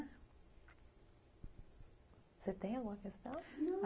Você tem alguma questão?